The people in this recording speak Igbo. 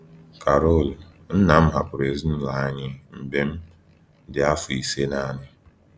Carol: Nna m hapụrụ ezinụlọ anyị mgbe m dị afọ ise naanị.